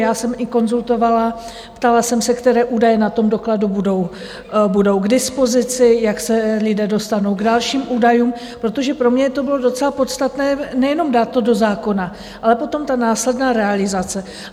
Já jsem i konzultovala, ptala jsem se, které údaje na tom dokladu budou k dispozici, jak se lidé dostanou k dalším údajům, protože pro mě to bylo docela podstatné nejenom dát to do zákona, ale potom ta následná realizace.